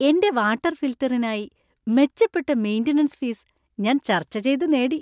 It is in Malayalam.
എന്‍റെ വാട്ടർ ഫിൽട്ടറിനായി മെച്ചപ്പെട്ട മെയിന്‍റനൻസ് ഫീസ് ഞാൻ ചർച്ച ചെയ്തുനേടി.